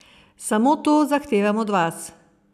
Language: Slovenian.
Samo to zahtevam od vas.